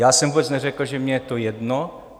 Já jsem vůbec neřekl, že mně je to jedno.